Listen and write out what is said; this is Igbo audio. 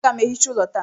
Aga m ehicha ụlọ taa